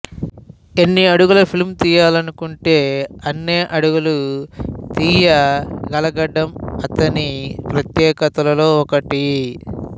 ఎన్ని అడుగుల ఫిల్మ్ తీయాలనుకుంటే అన్నే అడుగులు తీయగలగడం అతని ప్రత్యేకతల్లో ఒకటి